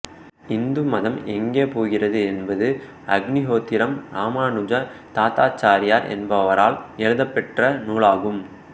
இந்து மதம் எங்கே போகிறது என்பது அக்னிஹோத்திரம் இராமானுச தாத்தாச்சாரியார் என்பவரால் எழுதப்பெற்ற நூலாகும்